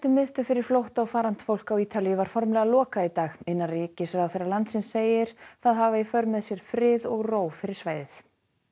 miðstöð fyrir flótta og farandfólk á Ítalíu var formlega lokað í dag innanríkisráðherra landsins segir það hafa í för með sér frið og ró fyrir svæðið